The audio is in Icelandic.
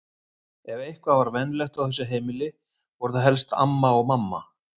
Ef eitthvað var venjulegt á þessu heimili voru það helst amma og mamma.